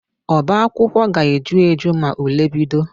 Ọbaakwụkwọ ga-eju eju ma ule bido